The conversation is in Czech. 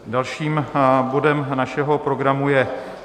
Dalším bodem našeho programu je